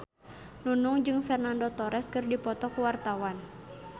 Nunung jeung Fernando Torres keur dipoto ku wartawan